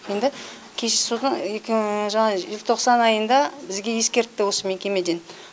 енді кездесудің екі мың жаңа желтоқсан айында бізге ескертті осы мекемеден